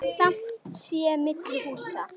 Skammt sé milli húsa.